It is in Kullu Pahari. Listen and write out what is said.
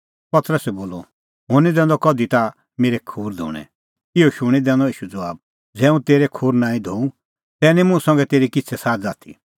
पतरसै बोलअ हुंह निं दैंदअ कधि ताह मेरै खूर धोणैं इहअ शूणीं दैनअ ईशू ज़बाब ज़ै हुंह तेरै खूर नांईं धोऊं तै निं मुंह संघै तेरी किछ़ै साझ़ आथी